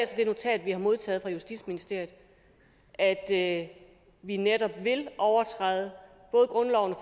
det notat vi har modtaget fra justitsministeriet at vi netop vil overtræde grundloven og